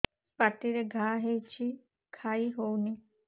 ପାଟିରେ ଘା ହେଇଛି ଖାଇ ହଉନି